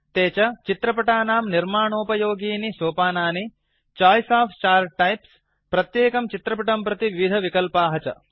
ते च चित्रपटाणां निर्माणोपयोगीनि सोपानानि चोइस ओफ चार्ट् टाइप्स् प्रत्येकं चित्रपटं प्रति विविधविकल्पाः च